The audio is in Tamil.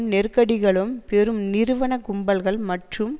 நெருக்கடிகளும் பெரும் நிறுவன கும்பல்கள் மற்றும்